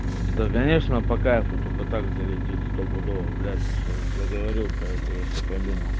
да конечно по кайфу только так залететь стопудово блять ты всё заговорил про это я щас пойду нахуй